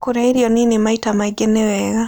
Kũrĩa irio nĩnĩ maĩta maĩngĩ nĩwega